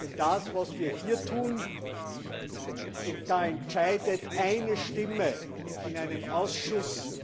Denn bei dem, was wir hier tun, entscheidet eine Stimme in einem Ausschuss,